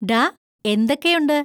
ഡാ, എന്തൊക്കെയുണ്ട്?